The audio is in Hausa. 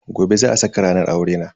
Gobe za a saka ranar aurena.